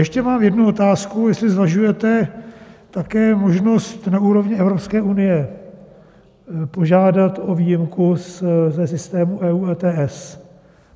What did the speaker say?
Ještě mám jednu otázku, jestli zvažujete také možnost na úrovni Evropské unie požádat o výjimku ze systému EU ETS.